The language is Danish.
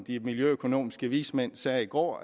de miljøøkonomiske vismænd sagde i går